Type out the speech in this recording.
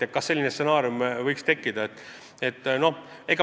Kas selline stsenaarium võiks käivituda?